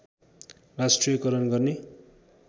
राष्ट्रियकरण गर्ने